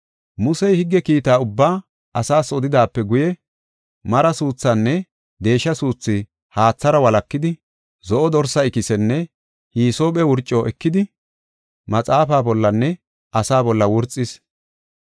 Musey higge kiita ubbaa asaas odidaape guye mara suuthinne deesha suuthi haathara walakidi, zo7o dorsa ikisenne hisoophe wurco ekidi, maxaafaa bollanne asaa bolla wurxis.